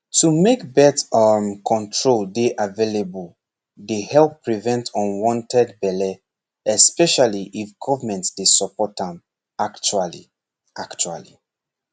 to make birth um control dey available dey help prevent unwanted belle especially if government dey support am actually actually